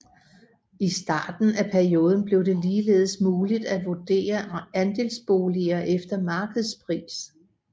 I starten af perioden blev det ligeledes muligt at vurdere andelsboliger efter markedspris